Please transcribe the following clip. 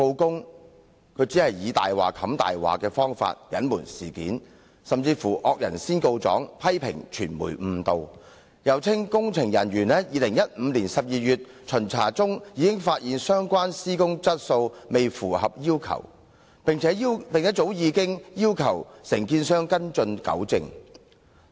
港鐵公司只以"大話掩飾大話"的方法隱瞞事件，甚至"惡人先告狀"批評傳媒誤導，又稱工程人員在2015年12月巡查時已發現相關施工質素未符合要求，並早已要求承建商跟進及糾正。